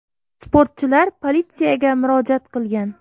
Sportchilar politsiyaga murojaat qilgan.